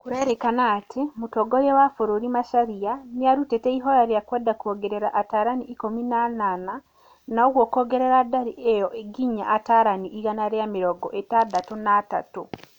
Kũrerĩkana atĩ mũtongoria wa bũrũri Macharia, nĩarutĩte ihoya rĩa kwenda kũongerera atarani ikũmi na anana na ũguo kũongerera ndari ĩyo nginya atarani igana ria mĩrongo ĩtandatũ na atatũ